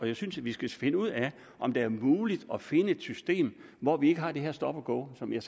jeg synes vi skal finde ud af om det er muligt at finde et system hvor vi ikke har det her stop go som jeg